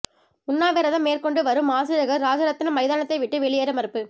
உண்ணாவிரதம் மேற்கொண்டு வரும் ஆசிரியர்கள் ராஜரத்தினம் மைதானத்தை விட்டு வெளியேற மறுப்பு